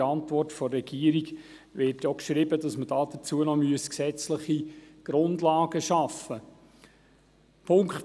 In der Antwort der Regierung wird auch geschrieben, dass man dafür noch gesetzliche Grundlagen schaffen müsste.